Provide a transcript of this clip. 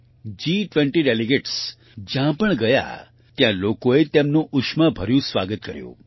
G20 delegates જ્યાં પણ ગયા ત્યાં લોકોએ તેમનું ઉષ્માભર્યું સ્વાગત કર્યું